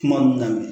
Kuma na